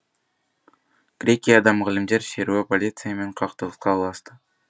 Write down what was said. грекияда мұғалімдер шеруі полициямен қақтығысқа ұласты